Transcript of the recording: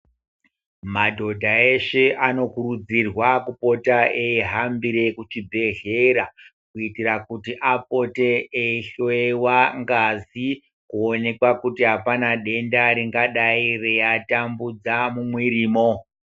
Madhodha eshe anokurudzirwa kupota eihambire kuchibhedhlera kuitira kuti apote eihloyewa ngazi kuonekwa kuti hapana denda ringadai reitambudza mumwirimo.